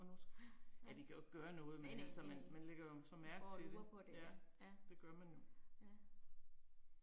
Og nu, ja vi kan jo ikke gøre noget, men altså man man lægger jo så mærke til det, ja, det gør man jo